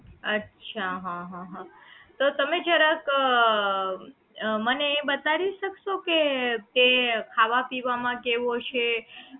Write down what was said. અચ્છા હા હા હા તો તમે જરાક અ મને એ બતાડી શકશો કે તે ખાવા પીવા માં કેવો છે